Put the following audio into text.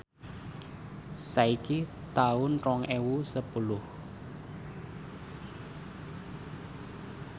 saiki taun rong ewu sepuluh